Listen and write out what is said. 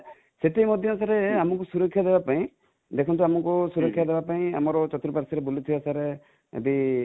ସେଠି ମଧ୍ୟ sir ଆମକୁ ସୁରକ୍ଷା ଦେବା ପାଇଁ ଦେଖନ୍ତୁ, ଆମକୁ ସୁରକ୍ଷାଦେବା ପାଇଁ ଆମର ଚତୁର୍ପାଶ୍ୱ ରେ ବୁଲୁ ଥିବା sir ଯୋଉ